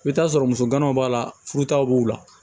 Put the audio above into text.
I bɛ t'a sɔrɔ muso kana b'a la furutaw b'u la